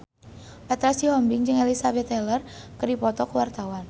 Petra Sihombing jeung Elizabeth Taylor keur dipoto ku wartawan